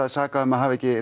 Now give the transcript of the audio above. sakað um að hafa ekki